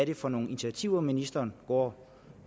det for nogle initiativer ministeren går